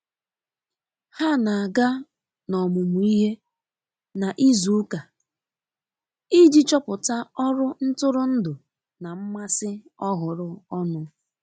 Ha na aga n'omumuihe na izụ ụka iji chọpụta ọrụ ntụrụndụ na mmasi ọhụrụ ọnụ.